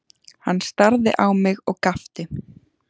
Hann starði á mig og gapti.